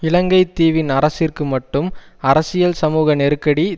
இலங்கை தீவின் அரசிற்கு மட்டும் அரசியல் சமூக நெருக்கடி